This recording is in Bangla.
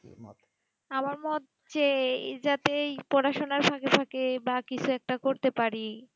আর আমার যেই যতই পড়া সোনা থেকে থাকে বা কিছু একটা করতে পারি